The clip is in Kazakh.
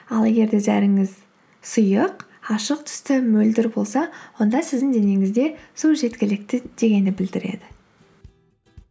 ал егер де зәріңіз сұйық ашық түсті мөлдір болса онда сіздің денеңізде су жеткілікті дегенді білдіреді